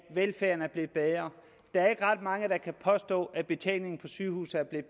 velfærden er blevet bedre der er ikke ret mange der kan påstå at betjeningen på sygehuse er blevet